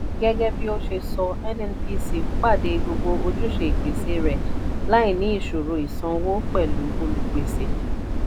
gẹ́gẹ́ bí ó ṣe sọ nnpc ń pàdé gbogbo ojúṣe ìpèsè rẹ̀ láì ní ìṣòro ìsanwó pẹ̀lú olùpèsè.